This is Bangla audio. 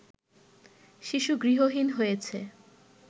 শিশু গৃহহীন হয়েছে